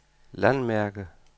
landmærke